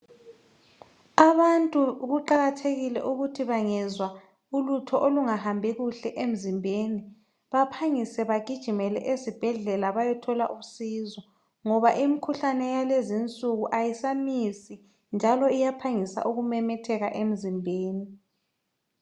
Abantu kuqakathekile ukuthi bangezwa ulutho olungahambi kuhle emzimbeni baphangise bagijimele ezibhedlela bayethola usizo ngoba imikhuhlane yalezi insuku ayisamisi njalo iyaphangisa ukumemetheka emzimbeni.